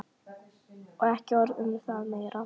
Og ekki orð um það meira!